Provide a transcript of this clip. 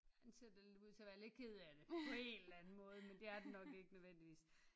Den ser da lidt ud til at være lidt ked af det på en eller anden måde men det er den nok ikke nødvendigvis